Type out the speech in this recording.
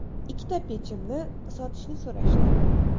Ikkita pechimni sotishni so‘rashdi.